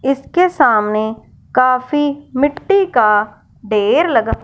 इसके सामने काफी मिट्टी का ढेर लगा--